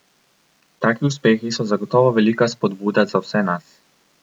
Taki uspehi so zagotovo velika spodbuda za vse nas.